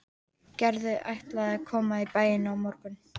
Gerður ætlaði að koma í bæinn á morgun.